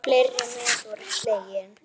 Fleiri met voru slegin.